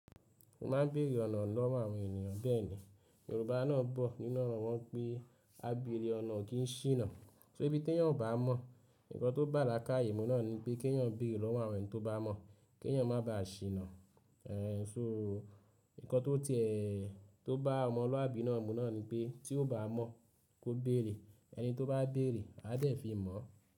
Mo máa ń beèrè ọ̀nà lọ́wọ́ àwọn ènìyàn bẹ́ẹ̀ ni, Yorùbá náà bọ̀ nínu oro won n pé, “ábeèrè ọ̀nà kìí ṣìnà”. So ibí teeyan ọ̀ bá mọ̀, nǹkan tó bà lákáyèmú náà ni pé, kí ẹ́eyan bèrè lọ́wọ́ àwọn ènì tó bá mọ̀, kí eẹ́yan má bàá ṣìnà. Èé, so nǹkan tó tiẹ́ tó bá ọmọluàbí nà mú náà ni pé, tí o bá mọ̀ kó bèerè, ẹni tó bá beèrè, á dẹ̀ fi mọ̀